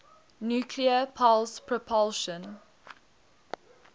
nuclear pulse propulsion